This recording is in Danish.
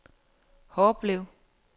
Horbelev